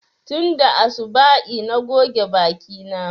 Tunda asuba'i na goge baki na